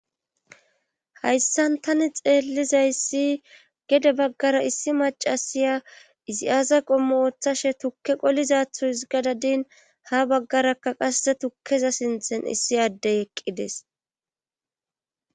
hayssan tani xeellizayssi gede baggara issi macasiya izi azaqomo oththashe tukke qolizathu hisgadadin ha baggarakka qasse tukkeza sinthen issi addey eqqides